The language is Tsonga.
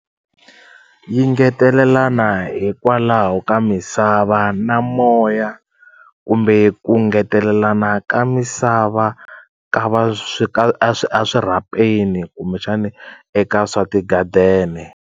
Yi ngetelelana hikwalaho ka misava na moya kumbe ku ngetelelana ka misava ka va swi ka a a swirhapeni kumbexani eka swa ti-garden-e.